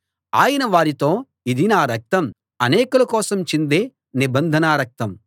ఆయన వారితో ఇది నా రక్తం అనేకుల కోసం చిందే నిబంధన రక్తం